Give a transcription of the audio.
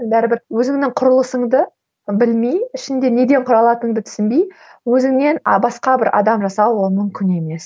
бәрібір өзіңнің құрылысыңды білмей ішіңде неден құралатыныңды түсінбей өзіңнен а басқа бір адам жасау ол мүмкін емес